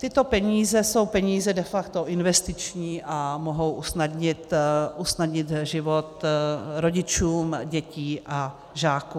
Tyto peníze jsou peníze de facto investiční a mohou usnadnit život rodičům dětí a žáků.